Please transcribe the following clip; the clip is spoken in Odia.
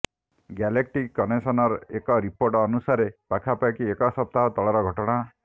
ଗ୍ୟାଲେକ୍ଟିକ କନେକଶନର ଏକ ରିପୋର୍ଟ ଅନୁସାରେ ପାଖାପାଖି ଏକ ସପ୍ତାହ ତଳର ଘଟଣା